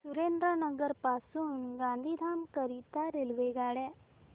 सुरेंद्रनगर पासून गांधीधाम करीता रेल्वेगाड्या